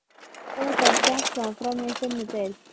Hvernig fór kennslan fram í þinni deild?